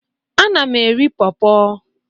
Ana m eri pọrpọr.